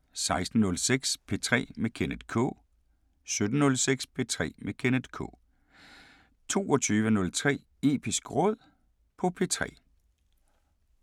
16:06: P3 med Kenneth K 17:06: P3 med Kenneth K 22:03: Episk Råd på P3